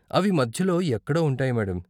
అవి మధ్యలో ఎక్కడో ఉంటాయి మేడం.